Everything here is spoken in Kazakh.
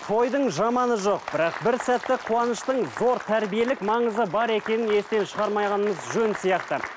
тойдың жаманы жоқ бірақ бір сәтті қуаныштың зор тәрбиелік маңызы бар екенін естен шығармағанымыз жөн сияқты